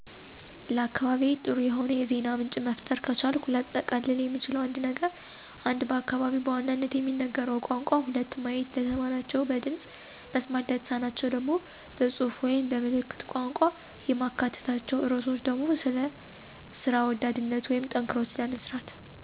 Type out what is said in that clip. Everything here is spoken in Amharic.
ለአካባቢዬ ጥሩ የሆነ የዜና ምንጭ መፍጠር ከቻልኩ ላጠቃልል የምችለው ነገር ቢኖር:- 1. በአካባቢው በዋናነት የሚነገረውን ቋንቋ 2. ማየት ለተማናቸው በድምፅ፣ መስማት ለተሳናቸው ደግሞ በፅሁፍ ወይም በ ምልክት ቋንቋ። የማካትታቸው ርዕሶች ደግሞ ስለ ስራ ወዳድነት ወይም ጠንክሮ ስለ መስራት።